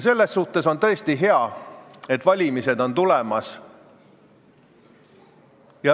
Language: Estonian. Selles suhtes on tõesti hea, et valimised on tulemas.